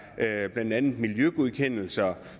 her blandt andet miljøgodkendelser